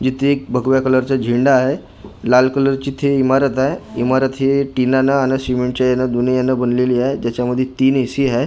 इथे एक भगव्या कलरचा झेंडा आहे लाल कलरची इथे इमारत आहे इमारत हि टीनानं आणि सिमेंटच्या यानं दोन्ही यानं बनलेली आहे त्याच्यामध्ये तीन ए.सी. हाय.